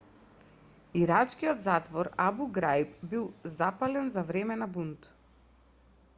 ирачкиот затвор абу граиб бил запален за време на бунт